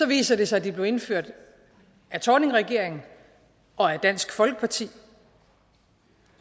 viser det sig at de blev indført af thorningregeringen og af dansk folkeparti